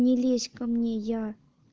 не лезь ко мне я